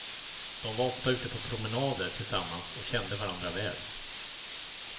De var ofta ute på promenader tillsammans och kände varandra väl.